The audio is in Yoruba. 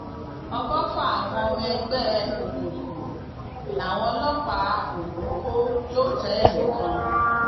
ọgọfà àwọn ọmọ ẹgbẹ òkùnkùn làwọn ọlọpàá ogun kò lọtẹẹlì kan